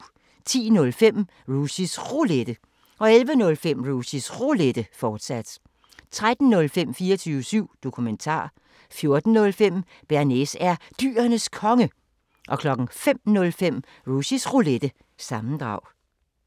10:05: Rushys Roulette 11:05: Rushys Roulette, fortsat 13:05: 24syv Dokumentar 14:05: Bearnaise er Dyrenes Konge 05:05: Rushys Roulette – sammendrag